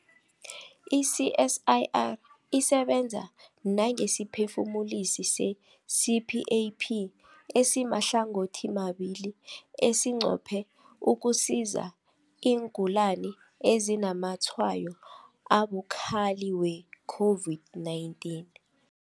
I-CSIR isebenza nangesiphefumulisi se-CPAP esimahlangothimabili esinqophe ukusiza iingulani ezinazamatshwayo abukhali we-COVID-19.